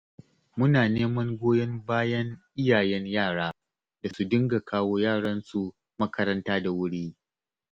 Muna neman goyon bayan iyayen yara da su dinga kawo yaransu makaranta da wuri